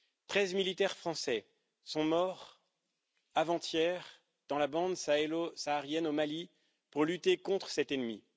Treize militaires français sont morts avant hier dans la bande sahélo saharienne, au Mali, pour lutter contre cet ennemi.